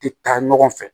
Tɛ taa ɲɔgɔn fɛ